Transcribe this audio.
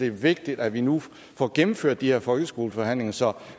er vigtigt at vi nu får gennemført de her folkeskoleforhandlinger så